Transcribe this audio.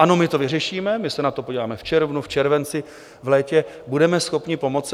Ano, my to vyřešíme, my se na to podíváme v červnu, v červenci, v létě, budeme schopni pomoci.